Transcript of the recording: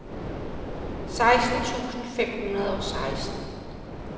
seksten tusind fem hundrede og seksten